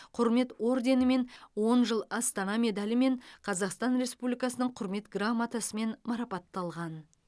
құрмет орденімен он жыл астана медалімен қазақстан республикасының құрмет грамотасымен марапатталған